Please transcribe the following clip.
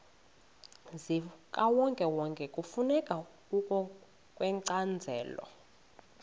zikawonkewonke kufuneka ngokwencazelo